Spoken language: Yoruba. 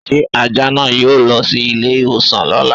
Ṣé Ajá náà yóò lọ sí ilé ìwòsàn lóla?